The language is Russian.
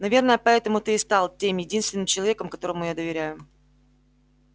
наверное поэтому ты и стал тем единственным человеком которому я доверяю